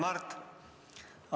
Hea Mart!